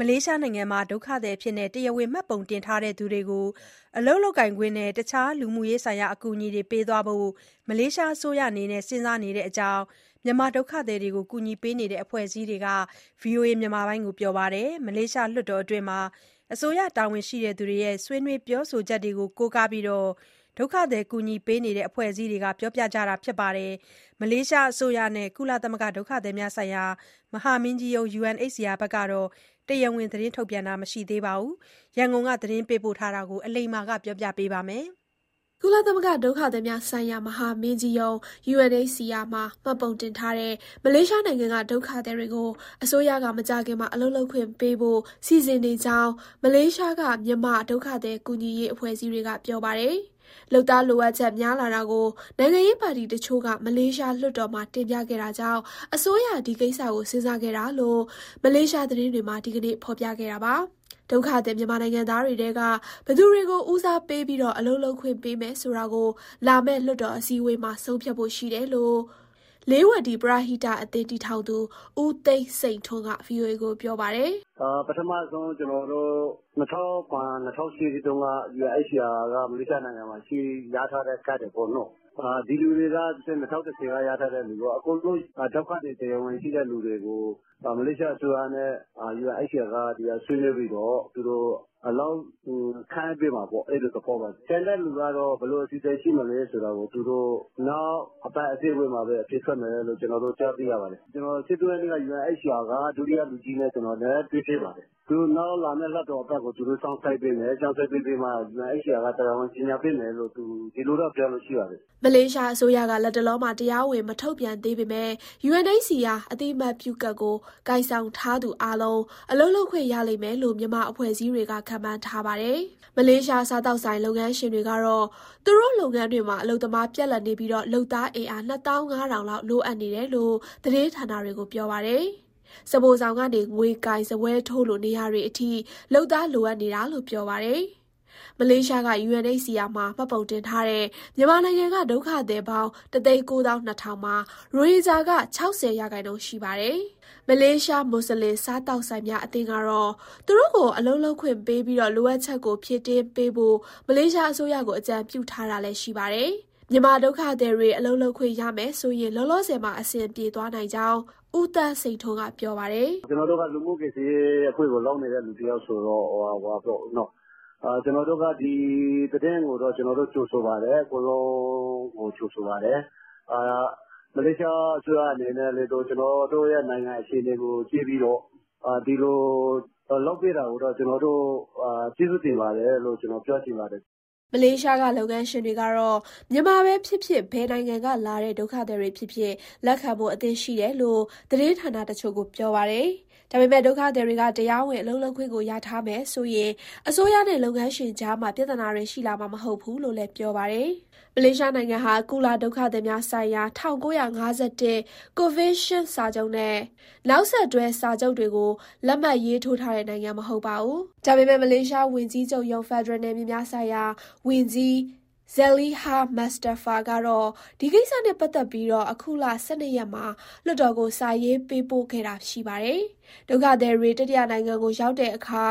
မလေးရှားနိုင်ငံမှာ ဒုက္ခသည်အဖြစ် တရားဝင် မှတ်ပုံတင်ထားတဲ့ သူတွေကို အလုပ်လုပ်ခွင့်နဲ့ တခြားလူမှုရေးဆိုင်ရာ အကူအညီတွေ ပေးသွားဖို့ မလေးရှားအစိုးရ စဉ်းစားနေတဲ့အကြောင်း မြန်မာဒုက္ခသည်ကူညီရေး အဖွဲ့အစည်းတွေက VOA ကို ပြောပါတယ်။ မလေးရှားလွှတ်တော်အတွင်း အစိုးရတာဝန်ရှိသူတွေရဲ့ ဆွေးနွေးပြောဆိုချက်တွေကို ကိုးကားပြီး ဒုက္ခသည်ကူညီရေး အဖွဲ့အစည်းတွေက ပြောဆိုကြတာပါ။ မလေးရှားအစိုးရနဲ့ ကုလသမဂ္ဂ ဒုက္ခသည်များဆိုင်ရာ မဟာမင်းကြီးရုံး UNHCR တို့ကတော့ တရားဝင် ထုတ်ပြန်တာ မရှိသေးတဲ့အကြောင်း ရန်ကုန်က သတင်းပေးပို့ထားပါတယ်။ ကုလသမဂ္ဂ ဒုက္ခသည်များဆိုင်ရာ မဟာမင်းကြီးရုံး UNHCR မှာ မှတ်ပုံတင်ထားတဲ့ မလေးရှားနိုင်ငံက ဒုက္ခသည်တွေကို အစိုးရက မကြာခင်မှာ အလုပ်လုပ်ခွင့်ပေးဖို့ စီစဉ်နေကြောင်း မလေးရှားက မြန်မာ ဒုက္ခသည်ကူညီရေး အဖွဲ့အစည်းတွေက ပြောပါတယ်။ လုပ်သားလိုအပ်ချက် များလာတာကို နိုင်ငံရေးပါတီတချို့က မလေးရှားလွှတ်တော်မှာ တင်ပြခဲ့တာကြောင့် အစိုးရ ဒီကိစ္စကို စဉ်းစားခဲ့တာလို့ မလေးရှား သတင်းတွေက ဒီနေ့ ဖော်ပြခဲ့တာပါ။ ဒုက္ခသည် မြန်မာနိုင်ငံသားတွေထဲက ဘယ်သူတွေကို ဦးစားပေးပြီး အလုပ်လုပ်ခွင့် ပေးမယ်ဆိုတာကို လာမယ့်လွှတ်တော် အစည်းအဝေးမှာ ဆုံးဖြတ်ဖို့ရှိတယ်လို့ လေးဝတီ ပရဟိတအသင်း တည်ထောင်သူ ဦးသန်းစိန်ထွန်းက VOA ကို ပြောပါတယ်။ "ပထမဆုံး ကျနော်တို့ ၂၀၀၇၊ ၂၀၀၈ တုန်းက UNHCR မလေးရှားနိုင်ငံမှာ ရထားတဲ့ကတ်တွေပေါ့နော်၊ ဒီလူတွေရော ၂၀၁၀ က ရထားသူတွေရော အကုန်လုံး ဒုက္ခသည်ကတ် တရားဝင်ရှိတဲ့သူတွေကို မလေးရှားအစိုးရနဲ့ UNHCR ဆွေးနွေးပြီးတော့ သူတို့ အလုပ်ခန့်အပ်ပေးမှာပေါ့။ အဲလိုသဘောပါ။ ကျန်တဲ့သူက ဘယ်လိုအစီအစဉ် ရှိမယ်ဆိုတာ သူတို့ နောက်အပတ် အစည်းအဝေးမှာပဲ အဖြေထွက်မယ်လို့ ကျနော်တို့ ကြားသိရပါတယ်။ ကျနော် ၁၃ရက်က UNHCR က ဒုတိယလူကြီးနဲ့ တွေ့ဖြစ်ပါတယ်။ သူတို့ နောက်လာမဲ့ လွှတ်တော်အပတ်ကို သူတို့ စောင့်ဆိုင်းပေးမယ် စောင့်ဆိုင်းပြီးမှ UNHCR က တရားဝင် ကြေညာပေးမယ်လို့ ဒီလိုပြောတာရှိပါတယ်။" မလေးရှားအစိုးရက လတ်တလောမှာ တရားဝင် မထုတ်ပြန်သေးပေမဲ့ UNHCR အသိအမှတ်ပြုကတ်ကို ကိုင်ဆောင်ထားသူအားလုံး အလုပ်လုပ်ခွင့် ရလိမ့်မယ်လို့ မြန်မာအဖွဲ့အစည်းတွေက ခန့်မှန်းထားပါတယ်။ မလေးရှား စားသောက်ဆိုင် လုပ်ငန်းရှင်တွေကတော့ သူတို့လုပ်ငန်းတွေမှာ အလုပ်သမား ပြတ်လပ်နေပြီး လုပ်သားအင်အား ၂၅,၀၀၀ လောက် လိုအပ်နေတယ်လို့ သတင်းဌာနတွေကို ပြောပါတယ်။ စားဖိုဆောင်ကနေ ငွေကိုင်၊ စားပွဲထိုးလို နေရာတွေအထိ လုပ်သား လိုအပ်နေတာလို့ ပြောပါတယ်။ မလေးရှားက UNHCR မှာ မှတ်ပုံတင်ထားတဲ့ မြန်မာနိုင်ငံက ဒုက္ခသည်ပေါင်း ၁၉၂,၀၀၀ မှာ ရိုဟင်ဂျာက ၆၀ရာခိုင်နှုန်းရှိပါတယ်။ မလေးရှား မွတ်ဆလင် စားသောက်ဆိုင်များ အသင်းကတော့ သူတို့ကို အလုပ်လုပ်ခွင့်ပေးပြီး လိုအပ်ချက်ကို ဖြည့်တင်းပေးဖို့ မလေးရှားအစိုးရကို အကြံပြုထားတာလည်း ရှိပါတယ်။ မြန်မာဒုက္ခသည်တွေ အလုပ်လုပ်ခွင့်ရမယ်ဆိုရင် လောလောဆယ်မှာ အဆင်ပြေသွားနိုင်ကြောင်း ဦးသန်းစိန်ထွန်းက ပြောပါတယ်။ "လိုအပ်တာက ကျနော်တို့ လူမှုကူညီရေး လုပ်နေတဲ့သူ တယောက်ဆိုတော့ ဒီသတင်းကို ကျနော်တို့ ကြိုဆိုပါတယ်။ အကုန်လုံးကို ကြိုဆိုပါတယ်။ မလေးရှားအစိုးရအနေနဲ့ ကျနော်တို့ရဲ့ နိုင်ငံရေး အခြေအနေကို ကြည့်ပြီးတော့ ဒီလိုလုပ်ပေးတာကို ကျနော်တို့ ကျေးဇူးတင်ပါတယ်လို့ ပြောချင်ပါတယ်။" မလေးရှားက လုပ်ငန်းရှင်တွေကတော့ မြန်မာပဲဖြစ်ဖြစ် ဘယ်နိုင်ငံကလာတဲ့ ဒုက္ခသည်တွေဖြစ်ဖြစ် လက်ခံဖို့အဆင့်သင့်ရှိတယ်လို့ သတင်းဌာနတချို့ကို ပြောပါတယ်။ ဒါပေမဲ့ ဒုက္ခသည်တွေက တရားဝင် အလုပ်လုပ်ခွင့်ကို ရထားမယ်ဆိုရင် အစိုးရနဲ့ အလုပ်ရှင်ကြားမှာ ပြဿနာတွေ ရှိလာမှာမဟုတ်ဘူးလို့လည်း ပြောပါတယ်။ မလေးရှားနိုင်ံငံဟာ ကုလဒုက္ခသည်များဆိုင်ရာ ၁၉၅၁ ကွန်ဗင်းရှင်းစာချုပ်နဲ့ နောက်ဆက်တွဲ စာချုပ်တွေကို လက်မှတ်ရေးထိုးထားတဲ့ နိုင်ငံမဟုတ်ပါဘူး။ ဒါပေမဲ့မလေးရှားဝန်ကြီးချုပ်ရုံး၊ ဖက်ဒရယ်နယ်မြေများဆိုင်ရာ ဝန်ကြီး Zaliha Mustafa ကတော့ ဒီကိစ္စနဲ့ပတ်သက်ပြီး အခုလ ၁၂ ရက်မှာ လွှတ်တော်ကို စာရေးပေးပို့ခဲ့တာ ရှိပါတယ်။ ဒုက္ခသည်တွေ တတိယနိုင်ငံကို ရောက်တဲ့အခါ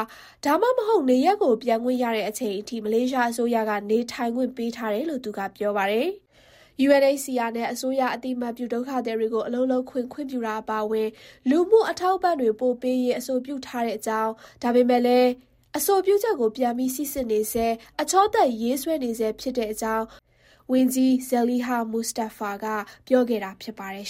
ဒါမှမဟုတ် နေရပ်ကို ပြန်ခွင့်ရတဲ့အချိန်အထိ မလေးရှားအစိုးရက နေထိုင်ခွင့်ပေးထားတယ်လို့ သူကပြောပါတယ်။ UNHCR နဲ့ အစိုးရအသိအမှတ်ပြု ဒုက္ခသည်တွေကို အလုပ်လုပ်ခွင့် ခွင့်ပြုတာ အပါအဝင် လူမှုအထောက်အပံ့တွေ ပိုပေးရေး အဆိုပြုထားတဲ့အကြောင်း ဒါပေမဲ့လည်း အဆိုပြုချက်ကို ပြန်ပြီး စီစစ်နေဆဲ၊ အချောသတ်ရေးဆွဲနေဆဲ ဖြစ်တဲ့အကြောင်း ဝန်ကြီး Zaliha Mustafa က ပြောဆိုခဲ့တာဖြစ်ပါတယ်